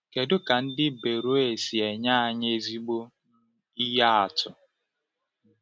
Kedu ka Ndị Beroea si nye anyị ezigbo ihe atụ?